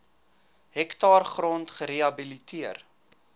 hektaar grond gerehabiliteer